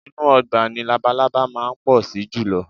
Inú ọgbà ni labalábá máa ń pọ̀ sí jùlọ